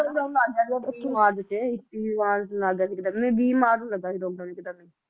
Lockdown ਲੱਗ ਗਿਆ ਇੱਕੀ ਮਾਰਚ ਨੂੰ ਲੱਗ ਗਿਆ ਵੀਹ ਮਾਰਚ ਨੂੰ ਲੱਗਾ ਸੀ lockdown